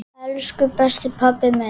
Elsku besti pabbi minn.